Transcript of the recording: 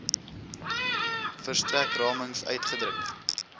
verstrek ramings uitgedruk